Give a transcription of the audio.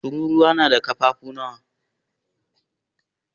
Tururuwa na da ƙafafu nawa?